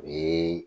O ye